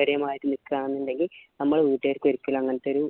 ഒരേ മാതിരി നിക്കാ എന്നിണ്ടേൽ നമ്മളെ വീട്ടുകാരിക്ക് ഒരിക്കലും അങ്ങനത്തൊരു